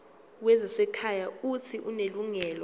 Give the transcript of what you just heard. wezasekhaya uuthi unelungelo